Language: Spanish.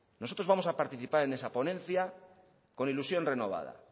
nosotros vamos a participar en esa ponencia con ilusión renovada